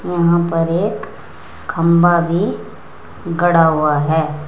वहां पर एक खंभा भी गड़ा हुआ है।